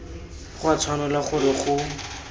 go a tshwanela gore go